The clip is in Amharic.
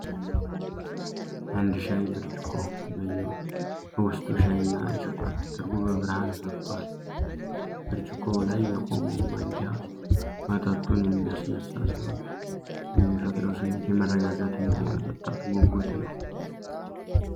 አንድ የሻይ ብርጭቆ በውስጡ ሻይ እና ስኳር ተደርጎ በብርሃን ፈክቷል። ብርጭቆው ላይ የቆመው ማንኪያ መጠጡን የሚያነሳሳ ሲሆን፣ የሚፈጥረውም ስሜት የመረጋጋት እና የመጠጣት ጉጉት ነው።